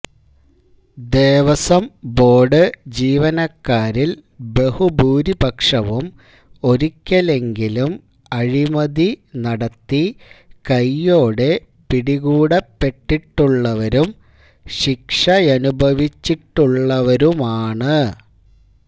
Devaswom board ജീവനക്കാരില് ബഹുഭൂരിപക്ഷവും ഒരിക്കലെങ്കിലും അഴിമതി നടത്തി കൈയോടെ പിടികൂടപ്പെട്ടിട്ടുള്ളവരും ശിക്ഷയനുഭവിച്ചിട്ടുള്ളവരുമാണ്